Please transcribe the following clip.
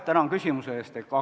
Tänan küsimuse eest!